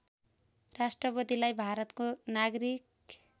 राष्‍ट्रपतिलाई भारतको नागरिक